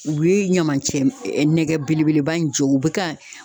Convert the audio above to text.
U ye ɲamancɛ nɛgɛ belebeleba in jɔ u bɛ ka